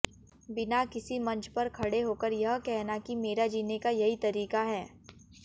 बिना किसी मंच पर खड़े होकर यह कहना कि मेरा जीने का यही तरीका है